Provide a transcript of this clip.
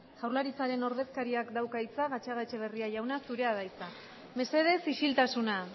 jaurlaritzaren ordezkariak dauka hitza gatzagaetxebarria jauna zurea da hitza mesedez isiltasuna